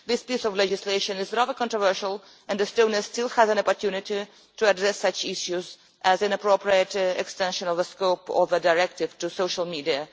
This piece of legislation is rather controversial and Estonia still has an opportunity to address such issues as the inappropriate extension of the scope of the directive to social media.